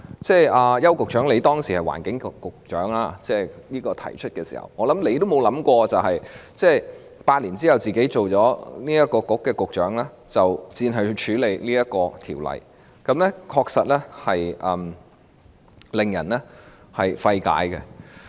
邱騰華局長，你擔任環境局局長時，相信也沒想過，在8年後成為商務及經濟發展局局長時，要接手處理《條例草案》，這確實令人費解。